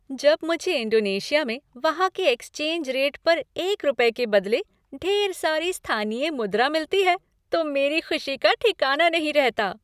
जब मुझे इंडोनेशिया में वहाँ के एक्सचेंज रेट पर एक रुपये के बदले ढेर सारी स्थानीय मुद्रा मिलती है तो मेरी खुशी का ठिकाना नहीं रहता।